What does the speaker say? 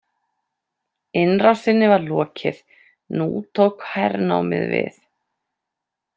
Innrásinni var lokið, nú tók hernámið við.